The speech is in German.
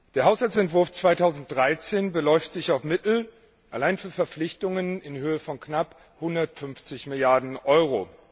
Der Haushaltsentwurf 2013 beläuft sich auf Mittel allein für Verpflichtungen in Höhe von knapp 150 Milliarden Euro.